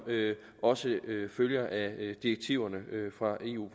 også følger af direktiverne fra eu